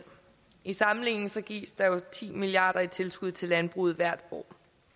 i sammenligning gives der jo ti milliard kroner i tilskud til landbruget hvert år